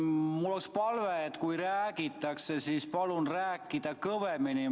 Mul on palve, et kui räägitakse, siis palun rääkida kõvemini.